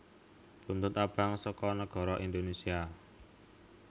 Buntut Abang saka Nagara Indonèsia